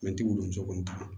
Mɛtiriw don cogo min kan